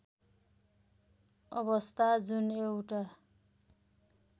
अवस्था जुन एउटा